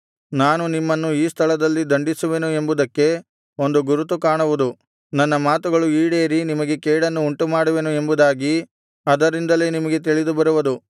ನಾನು ನಿಮ್ಮನ್ನು ಈ ಸ್ಥಳದಲ್ಲಿ ದಂಡಿಸುವೆನು ಎಂಬುದಕ್ಕೆ ಒಂದು ಗುರುತು ಕಾಣುವುದು ನನ್ನ ಮಾತುಗಳು ಈಡೇರಿ ನಿಮಗೆ ಕೇಡನ್ನು ಉಂಟುಮಾಡುವೆನು ಎಂಬುದಾಗಿ ಅದರಿಂದಲೇ ನಿಮಗೆ ತಿಳಿದುಬರುವುದು